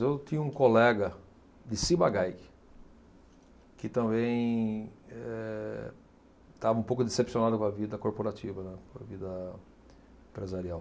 Eu tinha um colega de Ciba Geigy, que também eh, estava um pouco decepcionado com a vida corporativa, né, com a vida empresarial.